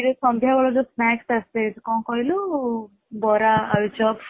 ସନ୍ଧ୍ୟା ବେଳେ ସେଇଠି ଯୋଉ snacks ଆସେ କଣ କହିଲୁ ବରା ଆଳୁଚପ